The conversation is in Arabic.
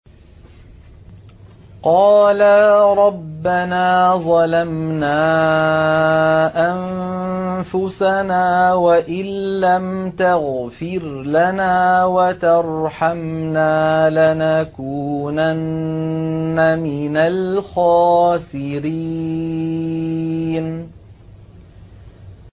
قَالَا رَبَّنَا ظَلَمْنَا أَنفُسَنَا وَإِن لَّمْ تَغْفِرْ لَنَا وَتَرْحَمْنَا لَنَكُونَنَّ مِنَ الْخَاسِرِينَ